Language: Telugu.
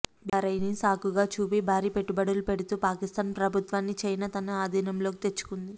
బీఆర్ఐని సాకుగా చూపి భారీ పెట్టుబడులు పెడుతూ పాకిస్తాన్ ప్రభుత్వాన్ని చైనా తన అధీనంలోకి తెచ్చుకుంది